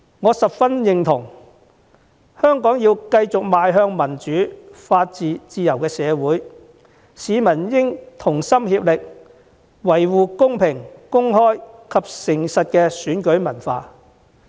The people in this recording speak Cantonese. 我十分認同，如果香港想繼續向民主、法治、自由社會的方向邁進，市民便要同心協力，維護公平公開及誠實的選舉文化。